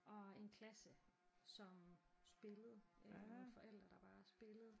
Og en klasse som spillede øh og nogle forældre der bare spillede